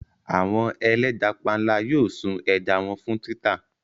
Àwọn ẹlẹ́ja panla yóò sun ẹja wọn fún títà.